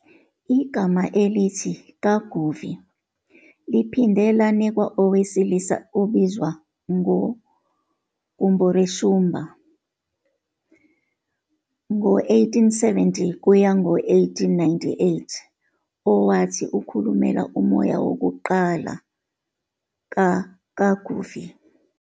Igama elithi "Kaguvi" liphinde lanikwa owesilisa obizwa ngoGumboreshumba, c1870-1898, owathi ukhulumela umoya wokuqala kaKaguvi.